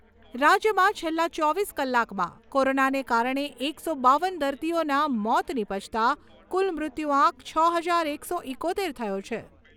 રાજ્યમાં છેલ્લા ચોવીસ કલાકમાં કોરોનાને કારણે એકસો બાવન દર્દીઓના મોત નીપજતાં કુલ મૃત્યુઆંક છ હજાર એકસો ઈકોતેર થયો છે.